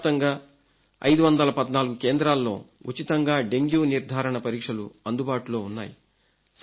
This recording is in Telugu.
దేశవ్యాప్తంగా 514 కేంద్రాల్లో ఉచితంగా డెంగ్యూ నిర్ధారణ పరీక్షలు అందుబాటులో ఉన్నాయి